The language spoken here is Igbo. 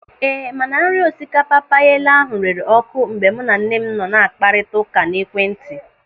Ee, mana nri osikapa payela ahụ rere ọ́kụ́ mgbe mụ na nne m nọ na-akparịta ụka n'ekwentị.